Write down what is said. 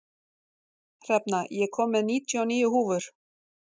Hrefna, ég kom með níutíu og níu húfur!